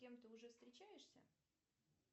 с кем то уже встречаешься